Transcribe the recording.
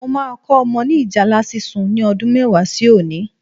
Mo máa kọ́ ọmọ ni ìjálá sísun ni ọdún mẹ́wàá sí òní